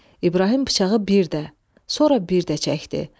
İbrahim bıçağı bir də, sonra bir də çəkdi.